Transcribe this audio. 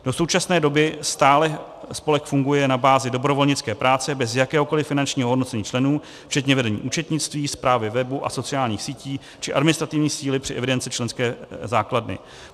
Do současné doby stále spolek funguje na bázi dobrovolnické práce bez jakéhokoliv finančního ohodnocení členů, včetně vedení účetnictví, správy webu a sociálních sítí či administrativní síly při evidenci členské základny.